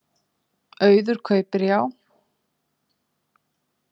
Auður kaupir Já